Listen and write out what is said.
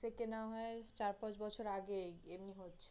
থেকে না হয় চার-পাঁচ বছর আগে এই এমনি হচ্ছিল